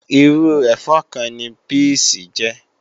Irú ẹ̀fọ́ kan ni píìsì jẹ́